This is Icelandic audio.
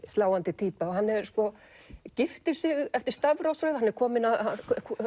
sláandi týpa og hann sko giftir sig eftir stafrófsröð hann er kominn að